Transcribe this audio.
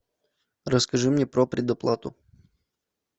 расскажи мне про предоплату